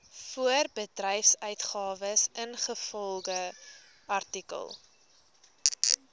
voorbedryfsuitgawes ingevolge artikel